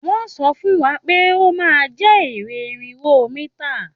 Wọ́n sọ fún wa pé ó máa jẹ́ eré irinwó mítà